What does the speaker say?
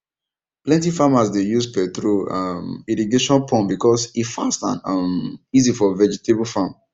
plenty farmers dey use petrol um irrigation pump because e fast and um easy for vegetable farm